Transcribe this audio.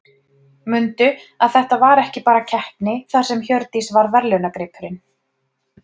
Mundu að þetta var ekki bara keppni þar sem Hjördís var verðlaunagripurinn.